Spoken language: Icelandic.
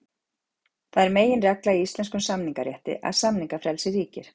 Það er meginregla í íslenskum samningarétti að samningafrelsi ríkir.